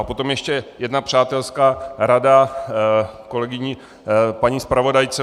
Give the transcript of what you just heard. A potom ještě jedna přátelská rada kolegyni, paní zpravodajce.